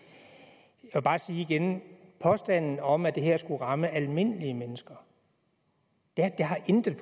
jeg vil bare sige igen at påstanden om at det her skulle ramme almindelige mennesker intet